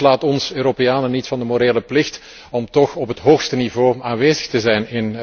Dat ontslaat ons Europeanen echter niet van de morele plicht om daar toch op het hoogste niveau aanwezig te zijn.